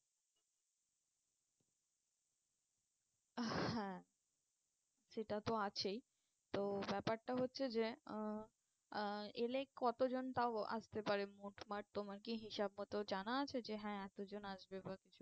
আহ হ্যাঁ সেটা তো আছেই তো ব্যাপারটা হচ্ছে যে আহ আহ এলে কতজন তাও আসতে পারে, মোট তোমার কি হিসাব মতো জানা আছে যে হ্যাঁ এতজন আসবে বা কিছু?